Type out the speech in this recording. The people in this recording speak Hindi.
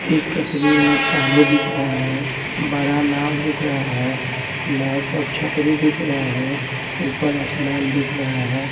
इस तस्वीर में पानी दिख रहा है बड़ा नाव दिख रहा है नाव पर छतरी दिख रहा है ऊपर आसमान दिख रहा है।